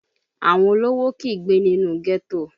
Àwọn olówó kìí gbé nínú ghetto